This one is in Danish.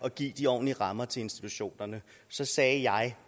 at give de ordentlige rammer til institutionerne så sagde jeg